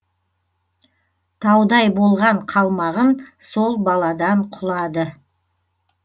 таудай болған қалмағын сол баладан құлады